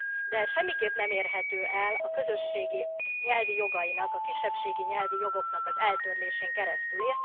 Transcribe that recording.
De ez semmiképp nem érhető el a közösség nyelvi jogainak, a kisebbségi nyelvi jogoknak az eltörlésén keresztül.